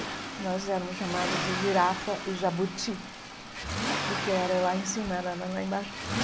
E nós éramos chamados de girafa e jabuti, porque eu era lá em cima, ela era lá embaixo.